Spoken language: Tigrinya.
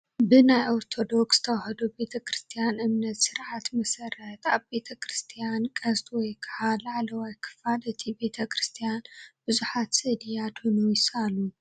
ብናይ ኦርቶዶክ ተዋህዶ ቤተ ክርስትያን እምነትን ስርዓትን መሰረት ኣብ ቤተ ክርስትያን ቀስት ወይ ከዓ ላዕለዋይ ክፋል እቲ ቤተ ክርስትያን ብዙሓት ስእሊ ኣድህኖ ይሰኣሉ፡፡